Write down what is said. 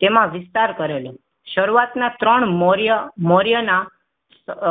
તેમાં વિસ્તાર કરેલો શરૂઆતના ત્રણ મૌર્ય મૌર્યના અ